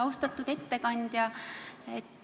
Austatud ettekandja!